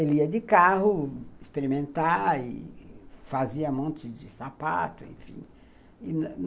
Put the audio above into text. Ele ia de carro experimentar e fazia um monte de sapato, enfim.